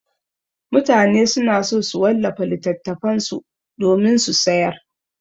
Mutane suna so su wallafa littattafan su domin su sayar.